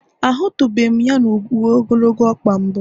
Ahụtụbeghị m ya na uwe ogologo ọkpa mbụ